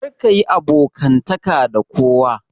Karka yi abokantaka da kowa.